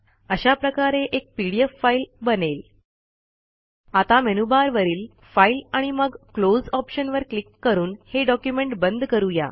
अशा प्रकारे एक पीडीएफ फाईल बनेल आता मेनूबारवरील फाइल आणि मग क्लोज ऑप्शनवर क्लिक करून हे डॉक्युमेंट बंद करू या